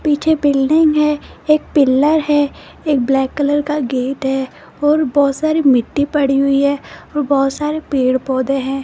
पीछे बिल्डिंग है एक पिलर है एक ब्लैक कलर का गेट है और बहुत सारी मिट्टी पड़ी हुई है और बहुत सारे पेड़-पौधे हैं।